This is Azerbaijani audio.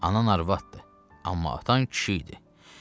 Anan arvadıdı, amma atan kişi idi.